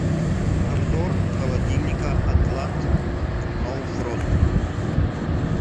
обзор холодильника атлант ноу фрост